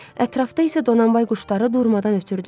Ətrafda isə Donanbay quşları durmadan ötürdü.